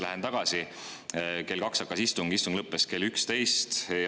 Lähen tagasi eilsesse: kell kaks hakkas istung, istung lõppes kell üksteist.